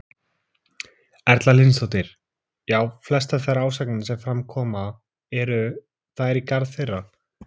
Hvernig getið þið nýtt ykkur þessa reynslu til að styrkja sambúðina og fjölskylduna enn frekar?